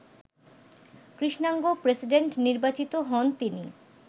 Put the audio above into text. কৃষ্ণাঙ্গ প্রেসিডেন্ট নির্বাচিত হন তিনি